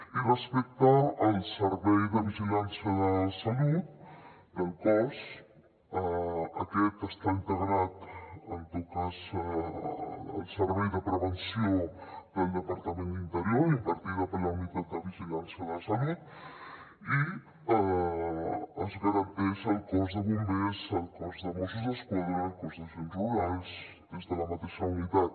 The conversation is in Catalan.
i respecte al servei de vigilància de salut del cos aquest està integrat en tot cas al servei de prevenció del departament d’interior impartida per la unitat de vigilància de la salut i es garanteix al cos de bombers al cos de mossos d’esquadra al cos d’agents rurals des de la mateixa unitat